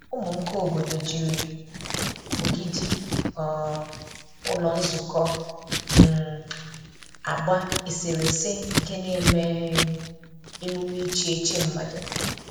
Ụmụ nka obodo jiri ogidi um ụlọ nzukọ um agba eserese nke na-eme um emume iche iche mmadụ.